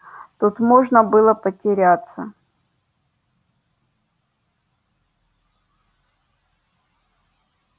тут можно было потеряться